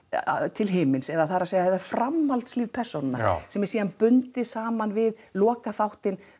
til himins eða það er að segja framhaldslíf persónanna sem er síðan bundið saman við lokaþáttinn